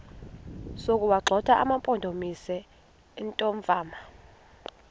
sokuwagxotha amampondomise omthonvama